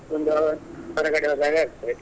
ಒಂದು ಹೊರಗಡೆ ಹೋದಾಗೆ ಆಗ್ತದೆ.